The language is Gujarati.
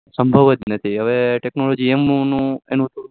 સંભવ જ નથી હવે technology એમનું નું